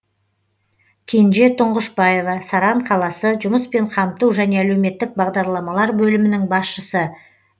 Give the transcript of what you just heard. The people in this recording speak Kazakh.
кенже тұңғышбаева саран қаласы жұмыспен қамту және әлеуметтік бағдарламалар бөлімінің басшысы